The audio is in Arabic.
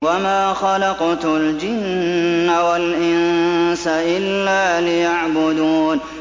وَمَا خَلَقْتُ الْجِنَّ وَالْإِنسَ إِلَّا لِيَعْبُدُونِ